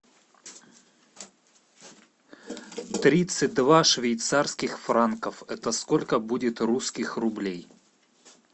тридцать два швейцарских франков это сколько будет русских рублей